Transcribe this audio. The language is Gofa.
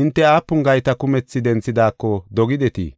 hinte aapun gayta kumethi denthidaako dogidetii?